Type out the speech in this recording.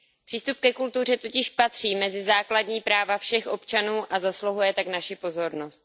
Přístup ke kultuře totiž patří mezi základní práva všech občanů a zasluhuje tak naši pozornost.